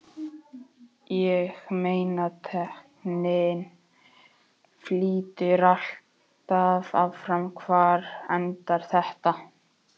Ég meina tækninni flýtur alltaf áfram, hvar endar þetta?